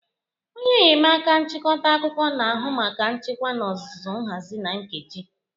Onye enyemaka nchịkọta akụkọ na-ahụ maka nchịkwa n'ozuzu, nhazi na nkeji